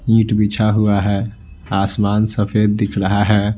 ईंट बिछा हुआ है आसमान सफेद दिख रहा है।